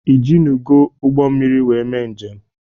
Ị jinugo ụgbọ mmiri wee mee njem?